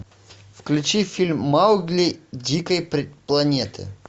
включи фильм маугли дикой планеты